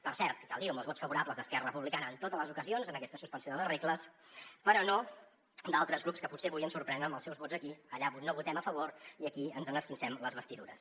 per cert cal dir ho amb els vots favorables d’esquerra republicana en totes les ocasions en aquesta suspensió de les regles però no d’altres grups que potser avui ens sorprenen amb els seus vots aquí allà no votem a favor i aquí ens n’esquincem les vestidures